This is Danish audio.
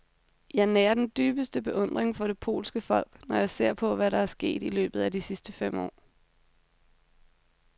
Jeg nærer den dybeste beundring for det polske folk, når jeg ser på, hvad der er sket i løbet af de sidste fem år.